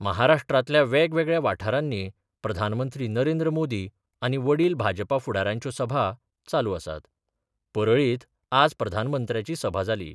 महाराष्ट्रांतल्या वेगवेगळ्या वाठारांनी प्रधानमंत्री नरेंद्र मोदी आनी वडील भाजपा फुडाऱ्यांच्यो सभा चालू आसात परळीत आज प्रधानमंत्र्याची सभा जाली.